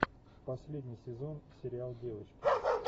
последний сезон сериал девочки